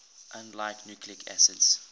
unlike nucleic acids